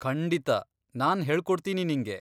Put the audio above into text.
ಖಂಡಿತಾ, ನಾನ್ ಹೇಳ್ಕೊಡ್ತೀನಿ ನಿಂಗೆ.